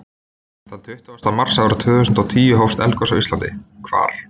Þann tuttugasta mars árið tvö þúsund og tíu hófst eldgos á Íslandi. Hvar?